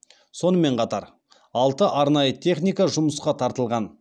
сонымен қатар алты арнайы техника жұмысқа тартылған